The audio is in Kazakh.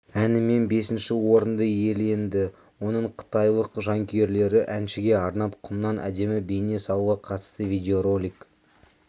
әнімен бесінші орынды иеленді оның қытайлық жанкүйерлері әншіге арнап құмнан әдемі бейне салуға қатысты видеоролик